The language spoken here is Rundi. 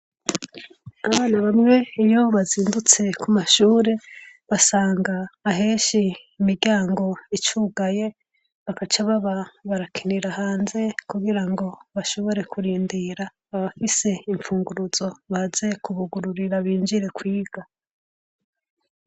Abana bamwe iyo bazindutse kumashure basanga ahenshi imiryango icugaye bagaca baba barakinira hanze kugirango bashobore kurindira abafise baze kubugururira binjire kwiga.